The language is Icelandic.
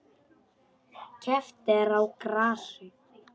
Keppt er á grasi.